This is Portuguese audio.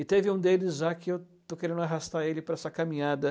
E teve um deles lá que eu estou querendo arrastar ele para essa caminhada.